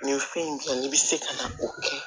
Ni fɛn in dilan n'i bɛ se ka na o kɛ